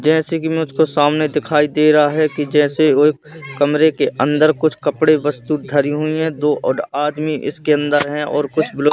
जैसे कि में उसको सामने दिखाई दे रहा है कि जैसे वो एक कमरे के अंदर कुछ कपड़े वस्तु धरी हुई है। दो और आदमी इसके अंदर है और कुछ --